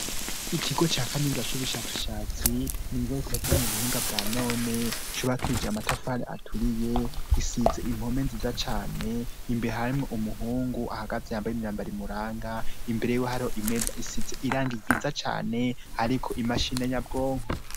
Ikigo ca kaminuza c'ubushakashatsi, n'ikigo gikoze mu buhinga bwa none, cubakije amatafari aturiye, gisize impome nziza cane, imbere harimwo umuhungu ahagaze yambaye imyambaro imuranga, imbere yiwe hariho imeza isize irangi ryiza cane hariko imashine nyabwonko.